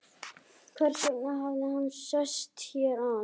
Hversvegna hafði hann sest hér að?